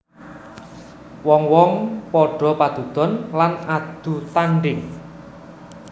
Wong wong padha padudon lan adu tandhing